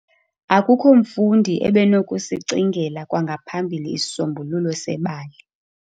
Akukho mfundi ebenokusicingela kwangaphambili isisombululo sebali.